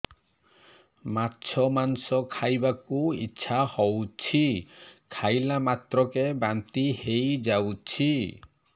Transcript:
ମାଛ ମାଂସ ଖାଇ ବାକୁ ଇଚ୍ଛା ହଉଛି ଖାଇଲା ମାତ୍ରକେ ବାନ୍ତି ହେଇଯାଉଛି